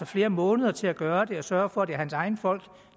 flere måneder til at gøre det og sørge for at det er hans egne folk